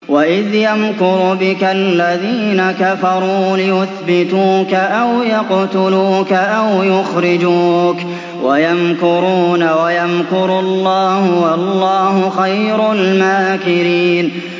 وَإِذْ يَمْكُرُ بِكَ الَّذِينَ كَفَرُوا لِيُثْبِتُوكَ أَوْ يَقْتُلُوكَ أَوْ يُخْرِجُوكَ ۚ وَيَمْكُرُونَ وَيَمْكُرُ اللَّهُ ۖ وَاللَّهُ خَيْرُ الْمَاكِرِينَ